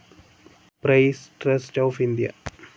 press trust of India